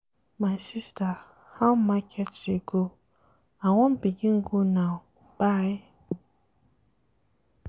My sista how market dey go? I wan begin go now, bye.